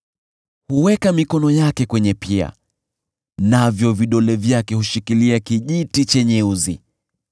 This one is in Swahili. Huweka mikono yake kwenye pia, navyo vidole vyake hushikilia kijiti chenye uzi.